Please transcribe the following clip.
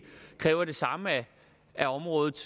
kræver det samme af området